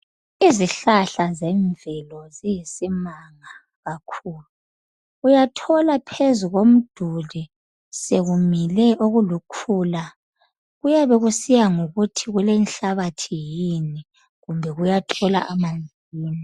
Izihlahla zemvelo ziyisimanga kakhulu. Uyathola phezu komduli sekumile okulukhula. Kuyabe kusiya ngokuthi kulenhlabathi yini kumbe kuyathola amanzi yini.